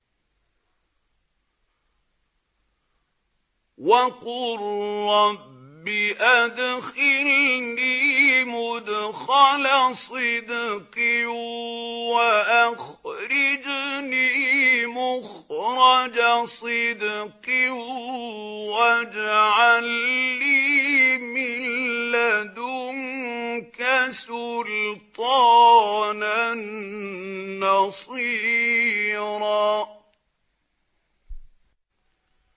وَقُل رَّبِّ أَدْخِلْنِي مُدْخَلَ صِدْقٍ وَأَخْرِجْنِي مُخْرَجَ صِدْقٍ وَاجْعَل لِّي مِن لَّدُنكَ سُلْطَانًا نَّصِيرًا